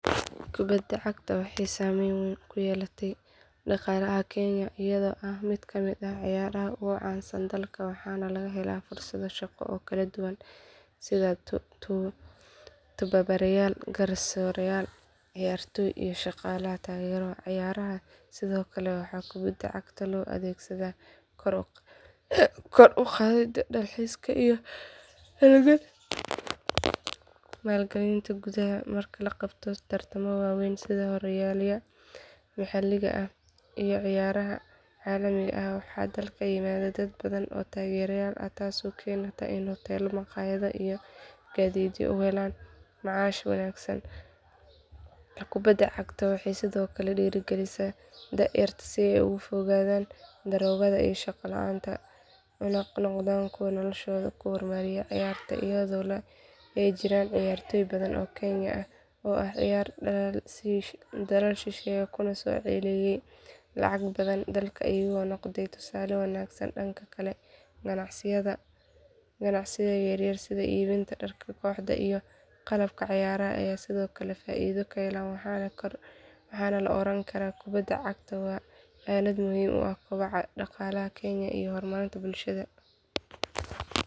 Kubadda cagta waxay saameyn weyn ku yeelatay dhaqaalaha Kenya iyadoo ah mid ka mid ah cayaaraha ugu caansan dalka waxaana laga helaa fursado shaqo oo kala duwan sida tababarayaal garsoorayaal ciyaartoy iyo shaqaalaha taageera cayaaraha sidoo kale waxaa kubadda cagta loo adeegsadaa kor u qaadidda dalxiiska iyo maalgelinta gudaha marka la qabto tartamo waaweyn sida horyaalada maxalliga ah iyo ciyaaraha caalamiga ah waxaa dalka yimaada dad badan oo taageerayaal ah taasoo keenta in huteelo maqaayado iyo gaadiidleydu ay helaan macaash wanaagsan kubadda cagta waxay sidoo kale dhiirrigelisaa da’yarta si ay uga fogaadaan daroogo iyo shaqo la’aan una noqdaan kuwo noloshooda ku horumariya cayaaraha iyadoo ay jiraan ciyaartoy badan oo Kenyan ah oo ka ciyaara dalal shisheeye kuna soo celiyay lacag badan dalka iyagoo noqday tusaale wanaagsan dhanka kale ganacsiyada yaryar sida iibinta dharka kooxda iyo qalabka cayaaraha ayaa sidoo kale faa’iido ka hela waxaana la oran karaa kubadda cagta waa aalad muhiim u ah kobaca dhaqaalaha Kenya iyo horumarinta bulshada.